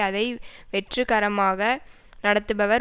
அதை வெற்றுகரமாக நடத்துபவர்